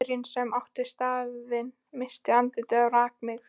Gaurinn sem átti staðinn missti andlitið og rak mig.